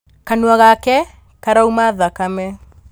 Kanua gake karauma thakame